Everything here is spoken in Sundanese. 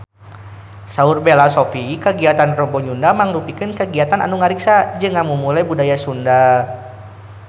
Saur Bella Shofie kagiatan Rebo Nyunda mangrupikeun kagiatan anu ngariksa jeung ngamumule budaya Sunda